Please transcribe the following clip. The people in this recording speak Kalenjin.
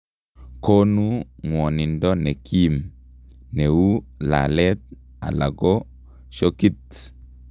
Koonu ng'wonindo nekiim, neuu laleet alako shokit